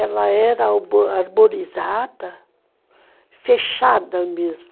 Ela era arbo arborizada, fechada mesmo.